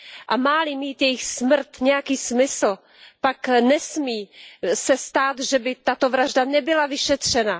A má li mít jejich smrt nějaký smysl, pak se nesmí stát, aby tato vražda nebyla vyšetřena.